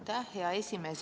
Aitäh, hea esimees!